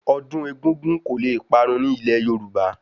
Ọdún egúngún kò le parun ní ilé Yorùbá